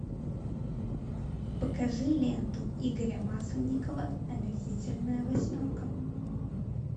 покажи ленту игоря масленникова омерзительная восьмерка